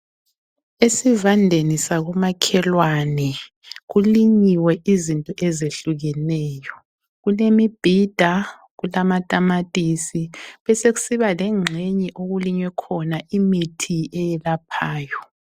Esivandeni sakomakhelwane kulinyiwe izinto ezehlukeneyo. Kulemibhida, kulamatamatisi besekusiba lengxenye okulinywe khona imithi eyelaphayo.